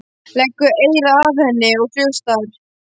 Leggur eyra að henni og hlustar.